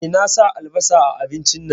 Eh, na sa albasa a abincin nan